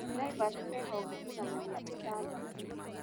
Naivas me honge igana rĩa ithathatũ.